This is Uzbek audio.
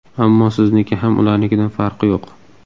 Ammo sizniki ham ularnikidan farqi yo‘q.